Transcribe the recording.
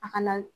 A kana